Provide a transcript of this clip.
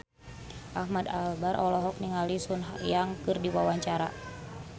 Ahmad Albar olohok ningali Sun Yang keur diwawancara